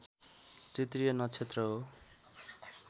तृतीय नक्षत्र हो